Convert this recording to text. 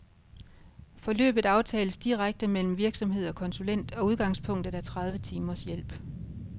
Forløbet aftales direkte mellem virksomhed og konsulent, og udgangspunktet er tredive timer hjælp.